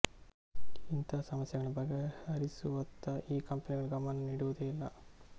ಇಂತಹ ಸಮಸ್ಯೆಗಳನ್ನು ಬಗೆಹರಿಸುವತ್ತ ಈ ಕಂಪೆನಿಗಳು ಗಮನ ನೀಡುವುದೇ ಇಲ್ಲ